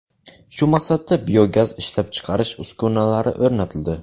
Shu maqsadda biogaz ishlab chiqarish uskunalari o‘rnatildi.